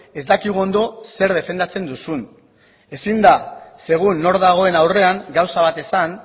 ez dakigu ondo zer defendatzen duzun ezin da segun nor dagoen aurrean gauza bat esan